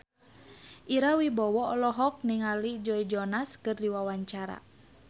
Ira Wibowo olohok ningali Joe Jonas keur diwawancara